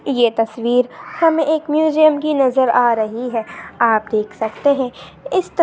ये तस्वीर हमे एक मूजियम की नज़र आ रही है। आप देख सकते है। इस तस--